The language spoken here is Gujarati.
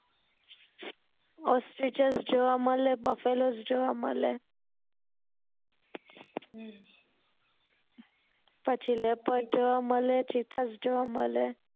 ostrich જોવા મળે buffaloes જોવા મળે પછી leopard